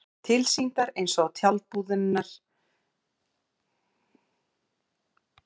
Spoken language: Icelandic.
Tilsýndar eins og tjaldbúðirnar á